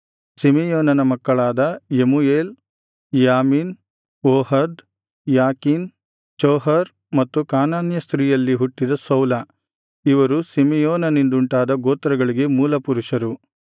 ಸಿಮೆಯೋನನ ಮಕ್ಕಳಾದ ಯೆಮೂಯೇಲ್ ಯಾಮೀನ್ ಓಹದ್ ಯಾಕೀನ್ ಚೋಹರ್ ಮತ್ತು ಕಾನಾನ್ಯ ಸ್ತ್ರೀಯಲ್ಲಿ ಹುಟ್ಟಿದ ಸೌಲ ಇವರು ಸಿಮೆಯೋನನಿಂದುಂಟಾದ ಗೋತ್ರಗಳಿಗೆ ಮೂಲ ಪುರುಷರು